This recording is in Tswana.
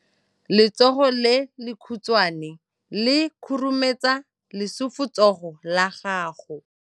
Letsogo le lekhutshwane le khurumetsa lesufutsogo la gago.